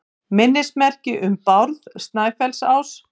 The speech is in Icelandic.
Minnismerki um Bárð Snæfellsás.